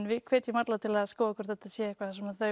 við hvetjum alla til að gá hvort þetta sé eitthvað sem